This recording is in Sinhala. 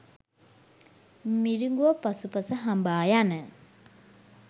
මිරිඟුව පසුපස හඹා යන